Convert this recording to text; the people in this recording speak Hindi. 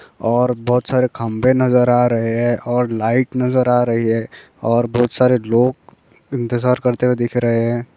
और बहोत सारे खंभे नज़र आ रहे है और लाइट नज़र आ रही है और बहोत सारे लोग इंतजार करते हुए दिख रहे है।